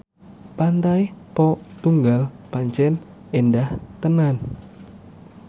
Pantai Pok Tunggal pancen endah tenan